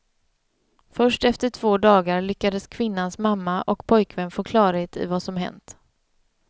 Först efter två dagar lyckades kvinnans mamma och pojkvän få klarhet i vad som hänt.